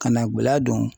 Ka na guladɔn